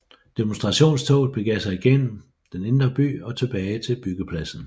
Demonstrationstoget begav sig gennem den indre by og tilbage til byggepladsen